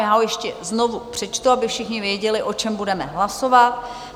Já ho ještě znovu přečtu, aby všichni věděli, o čem budeme hlasovat.